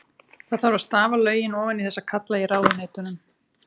Það þarf að stafa lögin ofan í þessa kalla í ráðuneytunum.